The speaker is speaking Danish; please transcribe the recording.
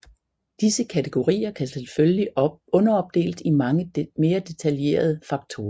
Disse kategorier kan selvfølgelig underopdeles i mange mere detaljerede faktorer